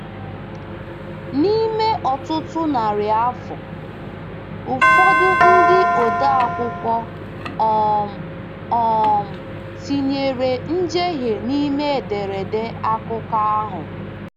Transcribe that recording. N’ime ọtụtụ narị afọ, ụfọdụ ndị odeakwụkwọ um um tinyere njehie n’ime ederede akụkọ ahụ.